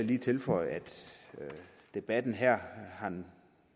lige tilføje at debatten her